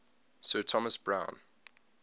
sir thomas browne